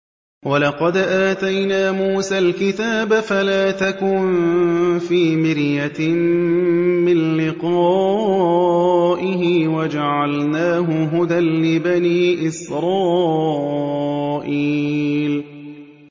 وَلَقَدْ آتَيْنَا مُوسَى الْكِتَابَ فَلَا تَكُن فِي مِرْيَةٍ مِّن لِّقَائِهِ ۖ وَجَعَلْنَاهُ هُدًى لِّبَنِي إِسْرَائِيلَ